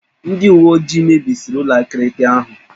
Ndị uwe ojii mebisiri ụlọ akịrịka ahụ.